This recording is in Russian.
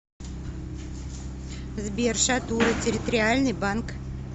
сбер шатура территориальный банк